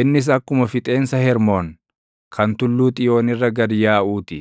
Innis akkuma fixeensa Hermoon, kan Tulluu Xiyoon irra gad yaaʼuu ti.